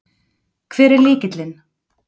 Hver er lykillinn?